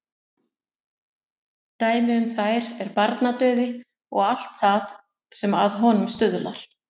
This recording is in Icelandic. Dæmi um þær er barnadauði og allt það sem að honum stuðlar.